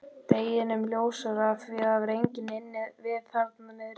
Deginum ljósara að það var enginn inni við þarna niðri.